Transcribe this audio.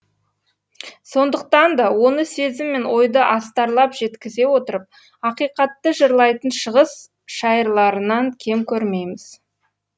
сондықтан да оны сезім мен ойды астарлап жеткізе отырып ақиқатты жырлайтын шығыс шайырларынан кем көрмейміз